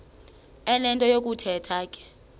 enento yokuthetha ke